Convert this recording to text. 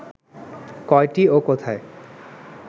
কয়টি ও কোথায়